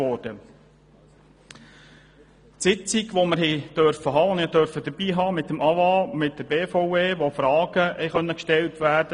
An der Sitzung mit dem AWA und der BVE konnten Fragen gestellt werden.